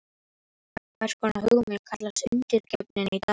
Hvers konar hugmynd kallast Undirgefnin í dag?